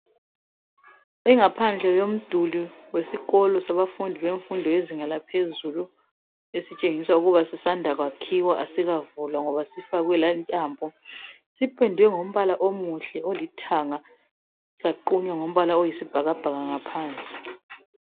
Ingaphandle yesikolo sabafundi bemfundo yezinga laphezulu esitshengisa ukuba sisanda kwakhiwa asikavulwa ngoba sifakwe layi ntambo. Sipendwe ngombala omuhle olithanga saqunywa ngombala oyisibhakabhaka ngaphansi.